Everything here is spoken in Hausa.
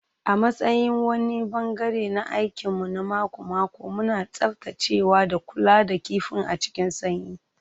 A matsayin wani ɓangare na aikin mu na mako-mako, muna tsaftacewa da kula da kifin a cikin sanyi.